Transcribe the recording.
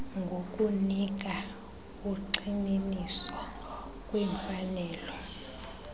ngokunika ugxininiso kwimfanelo